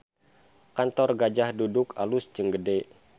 Kantor Gajah Duduk alus jeung gede